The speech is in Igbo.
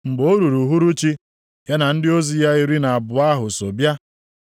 Mgbe o ruru uhuruchi, ya na ndị ozi ya iri na abụọ ahụ so bịa.